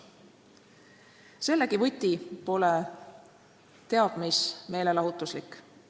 Sellegi võti pole teab mis meelelahutuslik.